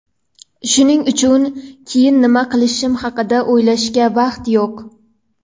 shuning uchun keyin nima qilishim haqida o‘ylashga vaqt yo‘q.